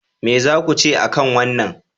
Me za ku ce a kan wannan?